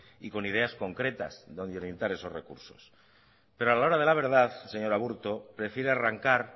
y con ideas concretas donde orientar esos recursos pero a la hora de la verdad señor aburto prefiere arrancar